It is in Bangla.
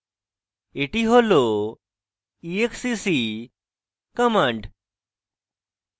এটি হল exec command